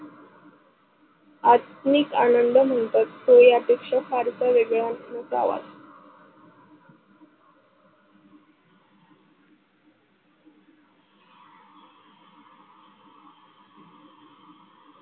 आधुनिक आनंद म्हणतात तो या पेक्शा फारसा वेगळा नसावा.